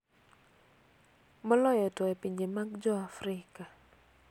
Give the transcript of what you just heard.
Moloyo to e pinje mag jo Afrika.